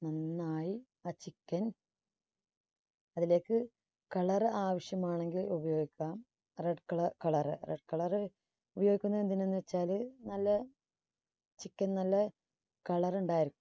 നന്നായി ആ chicken അതിലേക്ക് colour ആവശ്യമാണെങ്കിൽ ഉപയോഗിക്കാം. red color red colour ഉപയോഗിക്കുന്നത് എന്തിനെന്ന് വച്ചാല് നല്ല chicken നല്ല കളർ ഉണ്ടായിരിക്കും.